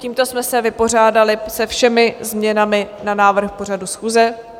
Tímto jsme se vypořádali se všemi změnami na návrh pořadu schůze.